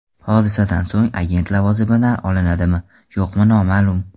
Hodisadan so‘ng agent lavozimdan olinadimi, yo‘qmi noma’lum.